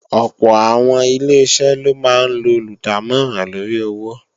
Ọ̀pọ̀ àwọn Ileṣẹ́ ló máa ń lo olùdámọ̀ràn lóri owó